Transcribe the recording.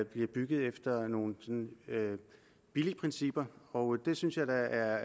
bliver bygget efter nogle billigprincipper og det synes jeg da er